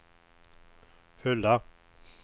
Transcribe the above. fulla